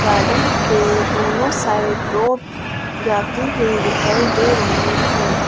Garden के दोनों side रोप जाती हुई दिखाई दे रही है।